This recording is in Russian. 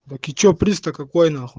так и че приз то какой нахуй